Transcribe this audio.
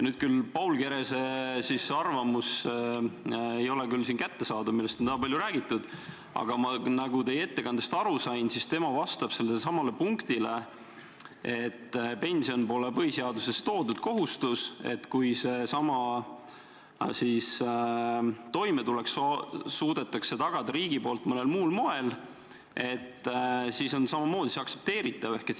Paul Kerese arvamus, millest nii palju räägitud on, ei ole siin küll kättesaadav, aga nagu ma teie ettekandest aru sain, vastab tema sellele väitele, et pension pole põhiseaduses ettenähtud kohustus, nii, et kui riik suudab sellesama toimetuleku tagada mõnel muul moel, siis on ka see aktsepteeritav.